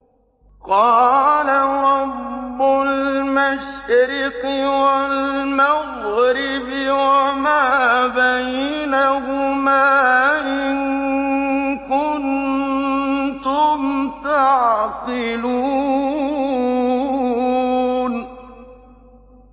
قَالَ رَبُّ الْمَشْرِقِ وَالْمَغْرِبِ وَمَا بَيْنَهُمَا ۖ إِن كُنتُمْ تَعْقِلُونَ